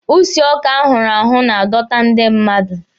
Usi ọka a hụrụ ahụ na-adọta ndị mmadụ.